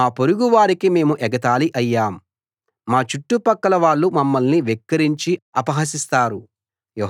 మా పొరుగు వారికి మేము ఎగతాళి అయ్యాం మా చుట్టుపక్కల వాళ్ళు మమ్మల్ని వెక్కిరించి అపహసిస్తారు